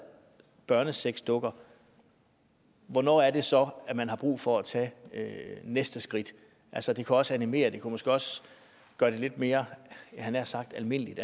børnesexdukker hvornår er det så at man har brug for at tage næste skridt altså det kan også animere det kunne måske også gøre det lidt mere jeg havde nær sagt almindeligt